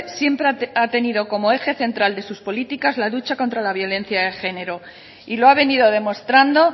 siempre ha tenido como eje central de sus políticas la lucha contra la violencia de género y lo ha venido demostrando